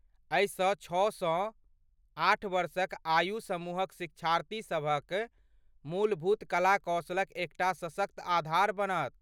एहिसँ छओ सँ आठ वर्षक आयु समूहक शिक्षार्थीसभक मूलभूत कला कौशलक एकटा सशक्त आधार बनत।